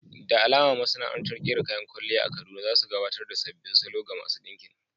Da alama masana'antar ƙera kayan kwalliya a Kaduna za su gabatar ta sabbin salo ga masu ɗinkin.